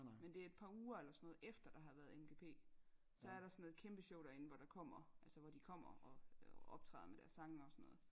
men det et par uger eller sådan noget efter der har været MGP så er der sådan noget kæmpe show derinde hvor der kommer altså hvor de kommer og og optræder med deres sange og sådan noget